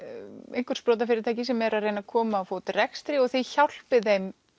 einhver sprotafyrirtæki sem eru að reyna að koma á rekstri og þið hjálpið þeim